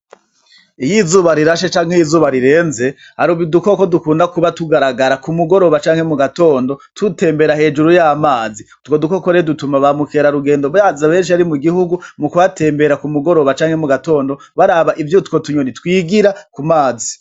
Iyo izuba rirashe canke iyo izuba rirenze, hari udukoko dukunda kuba tugaragara kumugoroba canke mugatondo dutembera hejuru y'amazi. Utwo dukoko rero dutuma baukerarugendo baza benshi mu gihugu mukuhatembera mugatondo canke kumugoroba baraba ivyo utwo tunyoni twigira ku mazi.